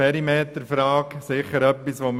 Ein Thema ist sicher der Perimeter.